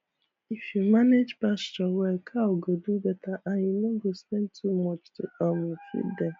if you manage pasture well cow go do better and you no go spend too much to um feed dem